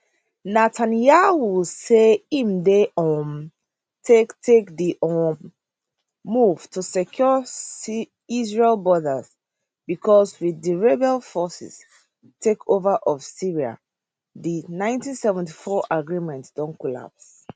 netanyahu say im dey um take take di um move to secure israel borders becos with di rebel forces takeover of syria di nineteen sevety four agreement don collapse